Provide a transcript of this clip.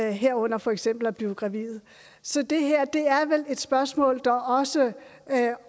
herunder for eksempel at blive gravid så det her er vel et spørgsmål der også